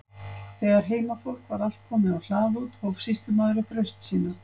Þegar heimafólk var allt komið á hlað út, hóf sýslumaður upp raust sína.